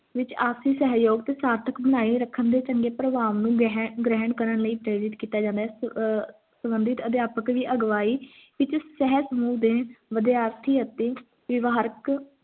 ਵਿੱਚ ਆਪਸੀ ਸਹਿਯੋਗ ਆਰਥਕ ਬਣਾਈ ਰੱਖਣ ਦੇ ਚੰਗੇ ਪ੍ਰਭਾਵ ਨੂੰ ਗ੍ਰਹਿ ਗ੍ਰਹਿਣ ਕਰਨ ਲਈ ਪ੍ਰੇਰਿਤ ਕੀਤਾ ਜਾਂਦਾ ਹੈ ਅਹ ਅਧਿਆਪਕ ਦੀ ਅਗਵਾਹੀ ਇੱਕ ਸਹੇ ਸਮੂਹ ਦੇ ਵਿਦਿਆਰਥੀ ਅਤੇ ਵਿਵਹਾਰਿਕ